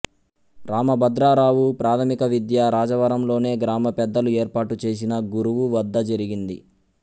రామభద్రరావు ప్రాథమిక విద్య రాజవరంలోనే గ్రామ పెద్దలు ఏర్పాటు చేసిన గురువు వద్ద జరిగింది